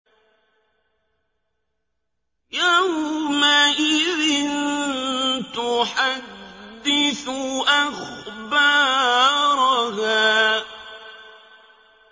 يَوْمَئِذٍ تُحَدِّثُ أَخْبَارَهَا